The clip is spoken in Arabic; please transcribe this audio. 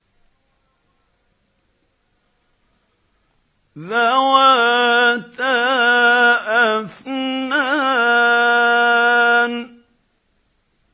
ذَوَاتَا أَفْنَانٍ